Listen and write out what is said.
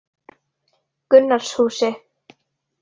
Gunnarshúsi